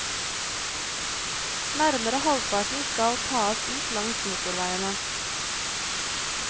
Nærmere halvparten skal tas ut langs motorveiene.